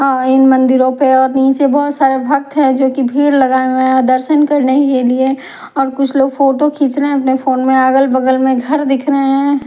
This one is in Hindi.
आ इन मंदिरों पे पीछे बहोत सारे भक्त है जो की भीड़ लगाए हुए है दर्शन करने के लिए और कुछ लोग फोटो खींच रहे है अपने फोन में अगल बगल में घर दिख रहे हैं।